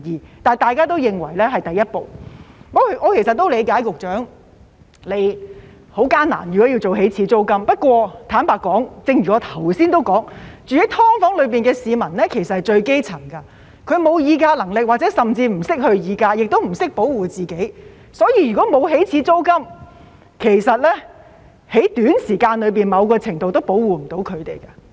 不過，大家也認為這是第一步，我理解局長如果要訂立起始租金是很艱難，但坦白說，正如我剛才提到，居住在"劏房"的都是最基層的市民，他們沒有議價能力，甚至不懂得議價，亦不懂得保護自己，所以，如果沒有起始租金，其實在短時間內，某程度也無法保護他們。